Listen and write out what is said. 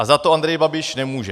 A za to Andrej Babiš nemůže.